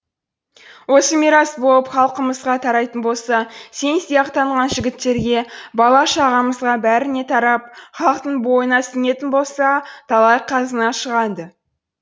осы мирас болып халқымызға тарайтын болса сен сияқтанған жігіттерге бала шағамызға бәріне тарап халықтың бойына сіңетін болса талай қазына шығады